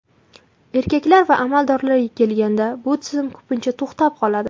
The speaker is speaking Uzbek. Erkaklar va amaldorlarga kelganda bu tizim ko‘pincha to‘xtab qoladi.